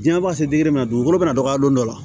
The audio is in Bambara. Diɲɛ ma se digi ma dugukolo bɛna dɔgɔya don dɔ la